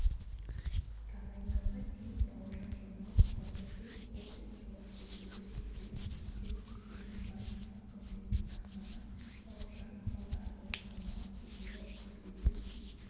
тағайындауға дейін бауыржан жамалов мырзакент-холдинг жауапкершілігі шектеулі серіктестігінің басшысы қызметін атқарған бауыржан салдарұлы жамалов жылы шілдеде